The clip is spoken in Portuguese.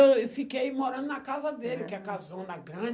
Aí eu fiquei morando na casa dele, que é a casona